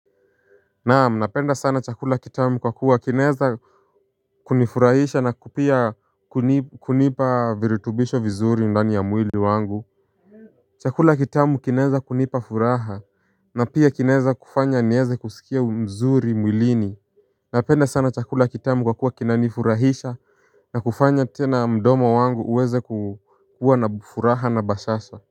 Naam napenda sana chakula kitamu kwa kuwa kinaeza kunifurahisha na pia kunipa virutubisho vizuri ndani ya mwili wangu. Chakula kitamu kinaeza kunipa furaha. Na pia kinaeza kufanya nieze kusikia mzuri mwilini. Napenda sana chakula kitamu kwa kuwa kinanifurahisha. Na kufanya tena mdomo wangu uweze kuwa na furaha na bashasha.